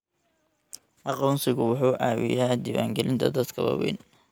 Aqoonsigu wuxuu caawiyaa diiwaangelinta dadka waaweyn.